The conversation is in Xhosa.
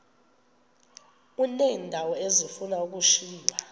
uneendawo ezifuna ukushiywa